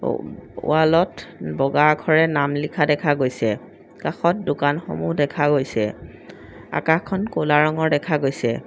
ওম ৱালত বগা আখৰে নাম লিখা দেখা গৈছে কাষত দোকানসমূহ দেখা গৈছে আকাশখন ক'লা ৰঙৰ দেখা গৈছে।